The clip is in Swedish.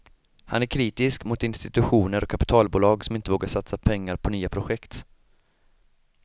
Han är kritisk mot institutioner och kapitalbolag som inte vågar satsa pengar på nya projekt.